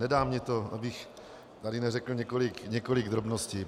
Nedá mi to, abych tady neřekl několik drobností.